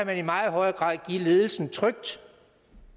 man i meget højere grad trygt give ledelsen